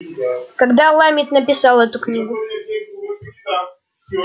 когда ламет написал эту книгу